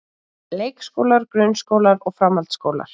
Leikskólar, grunnskólar og framhaldsskólar.